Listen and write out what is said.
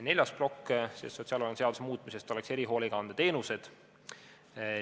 Neljas plokk sotsiaalhoolekande seaduse muudatustest on erihoolekandeteenused.